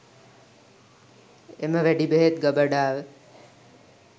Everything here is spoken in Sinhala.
එම වෙඩි බෙහෙත් ගබඩාව